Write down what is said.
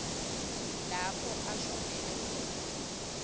lapho ashonele khona